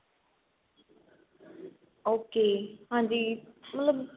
ok ਹਾਂਜੀ ਮਤਲਬ